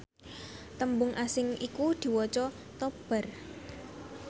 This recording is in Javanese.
tembung asing iku diwaca topbar